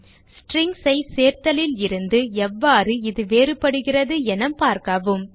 Strings ஐ சேர்த்தலில் இருந்து எவ்வாறு இது வேறுபடுகிறது என பார்க்கவும்